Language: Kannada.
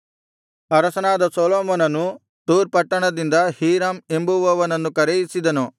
ಅರಸನಾದ ಸೊಲೊಮೋನನು ತೂರ್ ಪಟ್ಟಣದಿಂದ ಹೀರಾಮ್ ಎಂಬುವನನ್ನು ಕರೆಯಿಸಿದನು